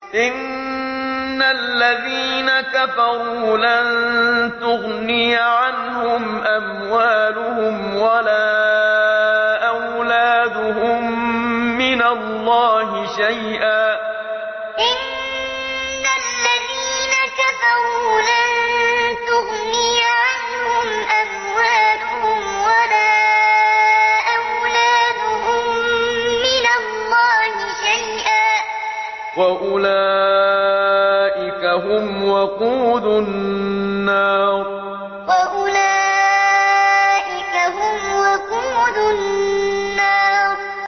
إِنَّ الَّذِينَ كَفَرُوا لَن تُغْنِيَ عَنْهُمْ أَمْوَالُهُمْ وَلَا أَوْلَادُهُم مِّنَ اللَّهِ شَيْئًا ۖ وَأُولَٰئِكَ هُمْ وَقُودُ النَّارِ إِنَّ الَّذِينَ كَفَرُوا لَن تُغْنِيَ عَنْهُمْ أَمْوَالُهُمْ وَلَا أَوْلَادُهُم مِّنَ اللَّهِ شَيْئًا ۖ وَأُولَٰئِكَ هُمْ وَقُودُ النَّارِ